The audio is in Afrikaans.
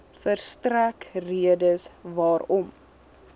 verstrek redes waarom